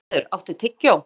Bjarnheiður, áttu tyggjó?